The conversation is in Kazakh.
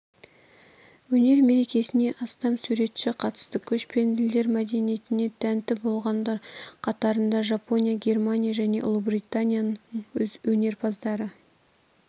өнер мерекесіне астам суретші қатысты көшпенділер мәдениетіне тәнті болғандар қатарында жапония германия және ұлыбританияның өнерпаздары